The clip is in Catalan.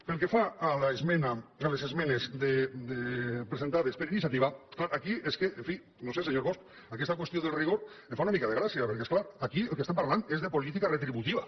pel que fa a les esmenes presentades per iniciativa clar aquí és que en fi no ho sé senyor bosch aquesta qüestió del rigor em fa una mica de gràcia perquè és clar aquí del que estem parlant és de política retributiva